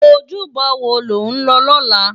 Ójúbò wó ló n lò lòlá?